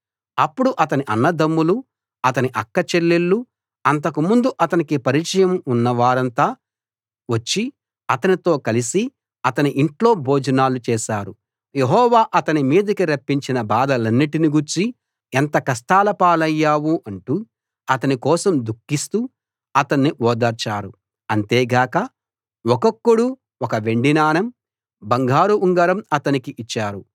అప్పుడు అతని అన్నదమ్ములు అతని అక్క చెల్లెళ్ళు అంతకుముందు అతనికి పరిచయం ఉన్న వారంతా వచ్చి అతనితో కలిసి అతని ఇంట్లో భోజనాలు చేశారు యెహోవా అతని మీదికి రప్పించిన బాధలన్నిటి గూర్చి ఎంత కష్టాల పాలయ్యావు అంటూ అతని కోసం దుఃఖిస్తూ అతణ్ణి ఓదార్చారు అంతేగాక ఒక్కొక్కడు ఒక వెండి నాణెం బంగారు ఉంగరం అతనికి ఇచ్చారు